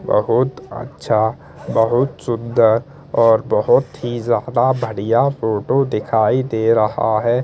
बहुत अच्छा बहुत सुन्दर और बहुत ही ज्यादा बढ़िया फोटो दिखाई दे रहा है ।